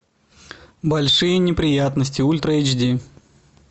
большие неприятности ультра эйч ди